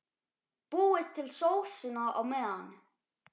Búið til sósuna á meðan.